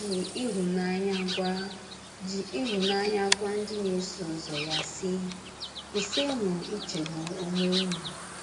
O ji ịhụnanya gwa ji ịhụnanya gwa ndị na - eso ụzọ ya, sị: “ Kwụsịnụ ichegbu onwe unu. ”